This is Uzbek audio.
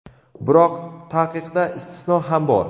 Biroq taqiqda istisno ham bor.